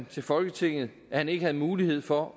til folketinget at han ikke havde mulighed for